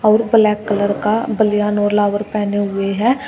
और black colour का बलियान और लावर पहने हुए है।